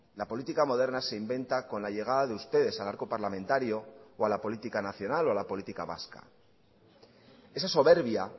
la política moderna se inventa con la llegada de ustedes al arco parlamentario o a la política nacional o a la política vasca esa soberbia